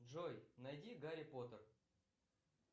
джой найди гарри поттер